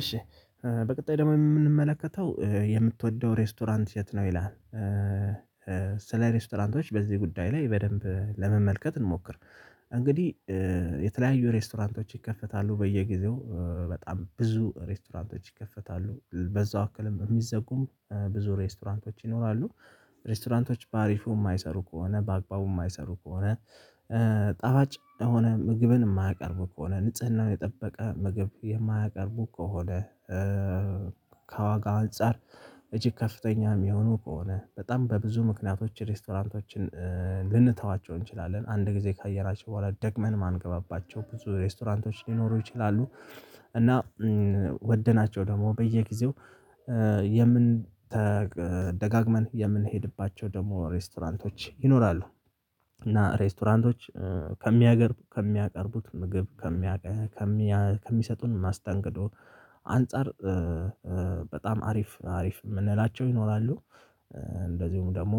እሺ በቀጣይ ደግሞ የምንመለከተው የምትወደው ሬስቶራንት የት ነው? ይላል ስለ ሬስቶራንቶች በዚህ ጉዳይ ላይ በደንብ ለመመልከት እንሞክር። እንግዲህ የተለያዩ ሬስቶራንቶች ይከፈታሉ። በየጊዜው በጣም ብዙ ሬስቶራንቶች ይከፈታሉ። በዛው አክልም የሚዘጉም ብዙ ሬስቶራንቶች ይኖራሉ። ሬስቶራንቶች በአሪፉ የማይሰሩ ከሆነ፤ በአግባቡ የማይሰሩ ከሆነ፤ ጠባጭ የሆነ ምግብን የማያቀርብ ከሆነ፤ ንጽህናውን የጠበቀ ምግብ የማያቀርቡ ከሆነ፤ ከዋጋ አንፃር እጅግ ከፍተኛ የሚሆኑ ከሆነ፤ በጣም በብዙ ምክንያቶች ሬስቶራንቶችን ልንተዋቸው እንችላለን። አንድ ጊዜ ካየናቸው በኋላ ደግመን ማንገባባቸው ብዙ ሬስቶራንቶች ሊኖሩ ይችላሉ። እና ወደናቸው ደግሞ በየጊዜው የምንደጋግመን የምንሄድባቸው ደግሞ ሬስቶራንቶች ይኖራሉ። እና ሬስቶራንቶች ከሚያገርቡ ከሚያቀርቡት ምግብ ከሚያቀርቡት ከሚሰጡን ማስጠንቀቂያ አንፃር በጣም አሪፍ አሪፍ የምንላቸው ይኖራሉ። እንደዚሁም ደግሞ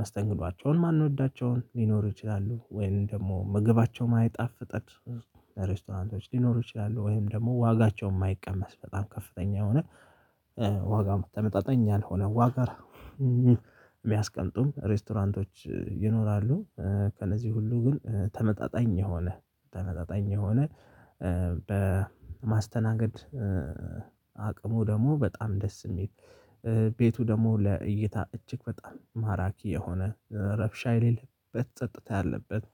መስተንግዷቸውን ማንወዳቸውን ሊኖሩ ይችላሉ። ወይንም ደግሞ ምግባቸውን አይጣፍጠውም። ሬስቶራንቶች ሊኖሩ ይችላሉ። ወይም ደግሞ ዋጋቸውን የማይቀመስ በጣም ከፍተኛ የሆነ ዋጋ ተመጣጣኝ አልሆነ ዋጋ የሚያስቀልጡም ሬስቶራንቶች ይኖራሉ። ከነዚህ ሁሉ ግን ተመጣጣኝ የሆነ ተመጣጣኝ የሆነ በማስተናገድ አቅሙ ደግሞ በጣም ደስ የሚል ቤቱ ደግሞ ለእይታ እጅግ ፈጣን ማራኪ የሆነ ረብሻ የሌለበት ጸጥታ ያለበት።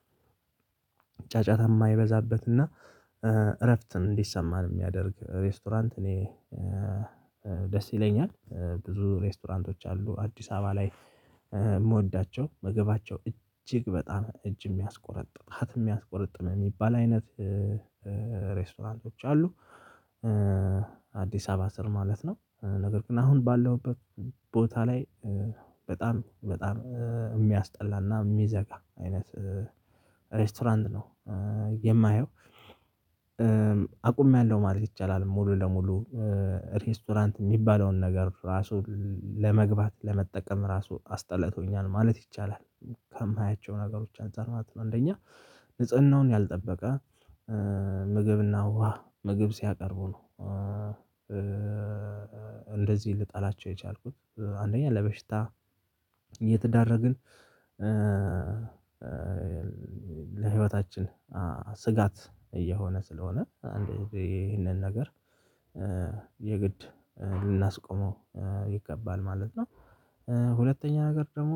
የማይበዛበትና እረፍትን እንዲሰማን የሚያደርግ ሬስቶራንት እኔ ደስ ይለኛል። ብዙ ሬስቶራንቶች አሉ አዲስ አበባ ላይ የምወዳቸው ምግባቸው እጅግ በጣም እጅ የሚያስቆረጥባት የሚያስቆርጥም የሚባል አይነት ሬስቶታንቶች አሉ። አዲስ አበባ ስር ማለት ነው ነገር ግን አሁን ባለውበት ቦታ ላይ በጣም በጣም የሚያስጠላና የሚዘጋ አይነት ሬስቶራንት ነው። የማየው አቁሜያለሁ ማለት ይቻላል። ሙሉ ለሙሉ ሬስቶራንት የሚባለውን ነገር ራሱ ለመግባት ለመጠቀም ራሱ አስጠላቶኛል። ማለት ይቻላል። ከማያቸው ነገሮች አንፃር ማት ነው አንደኛ ንጽህናውን ያልጠበቀ፤ ምግብና ውሃ ምግብ ሲያቀርቡ ነው። እንደዚህ ልጣላቸው የቻልኩት አንደኛ ለበሽታ እየተዳረግን ለህይወታችን ስጋት እየሆነ ስለሆነ አንድ ይህንን ነገር የግድ ልናስቆመው ይገባል ማለት ነው። ሁለተኛ ነገር ደግሞ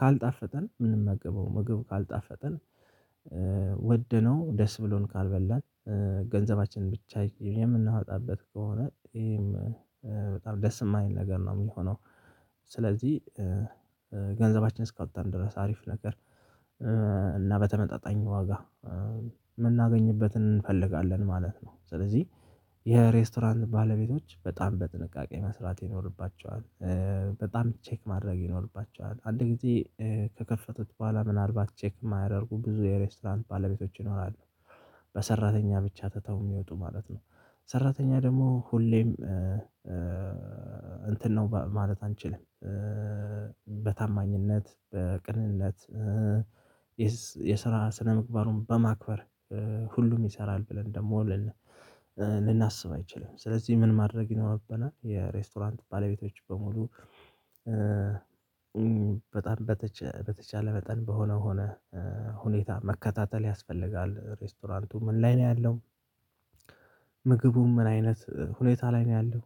ካልጣፈተን ምንም አገበው ምግብ ካልጣፈጠን ወደነው ደስ ብሎን ካልበላን ገንዘባችን ብቻ የምናወጣበት ከሆነ ይሄም በጣም ደስ የማል ነገር ነው የሚሆነው። ስለዚህ ገንዘባችን እስካወጣን ድረስ አሪፍ ነገር እና በተመጣጣኝ ዋጋ የምናገኝበትን እንፈልጋለ። ማለት ነው። ስለዚህ የሬስቶራንት ባለቤቶች በጣም በጥንቃቄ መስራት ይኖርባቸዋል። በጣም ቼክ ማድረግ ይኖርባቸዋል። አንድ ጊዜ ከከፈቱት በኋላ ምናልባት ቼክ የማያደርጉ ብዙ የሬስቶራንት ባለቤቶች ይኖራሉ። በሰራተኛ ብቻ ተተው የሚወጡ ማለት ነው ሰራተኛ ደግሞ ሁሌም እንትን ነው ማለት አንችልም። በታማኝነት በቅንነት የስራ ስነምግባሩን በማክበር ሁሉም ይሰራል። ብለን ደግሞ ልናስብ አይችልም። ስለዚህ ምን ማድረግ ይኖርብናል የሬስቶራንት ባለቤቶች በሙሉ በጣም በተቻለ በጣም በሆነው ሆነህ ሁኔታ መከታተል ያስፈልጋል። ሬስቶራንቱ ምን ላይ ነው። ያለው ምግቡ ምን አይነት ሁኔታ ላይ ነው ያለው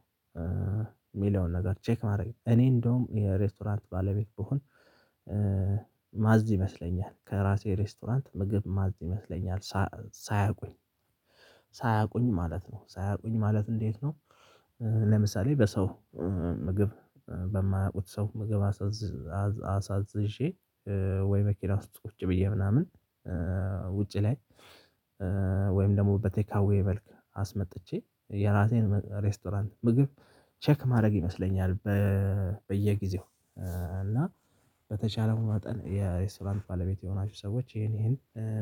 የሚለውን ነገር ቼክ ማድረግ እኔ እንደውም የሬስቶራንት ባለቤት ብሆን ማዝ ይመስለኛል ከራሴ ሬስቶራንት ምግብ ማዝ ይመስለኛል። ሳያውቁኝ ሳያውቁኝ ማለት ነው ሳያውቁኝ ማለት እንዴት ነው። ለምሳሌ በሰው ምግብ በማያውቁት ሰው ምግብ አሳዝዤ ወይ በኪና ውስጥ ቁጭ ብዬ ምናምን ውጪ ላይ ወይም ደግሞ በቴካዌ መልክ አስመጥቼ የራቴን ሬስቶራንት ምግብ ቼክ ማድረግ ይመስለኛል። በየጊዜው እና በተቻለው መጠን የሬስቶራንት ባለቤት የሆናችሁ ሰዎች ይሄን ይሄን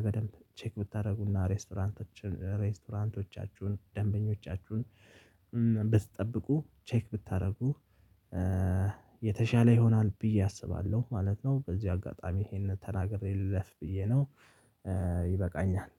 በደንብ ቼክ ብታደርጉና ሬስቶራንቶችን ሬስቶራንቶቻችሁ፣ ደንበኞቻችሁን፣ ብትጠብቁ ቼክ ብታደርጉ የተሻለ ይሆናል። ብዬ አስባለሁ ማለት ነው። በዚህ አጋጣሚ ይሄንን ተናግሬለት ብዬ ነው ይበቃኛል።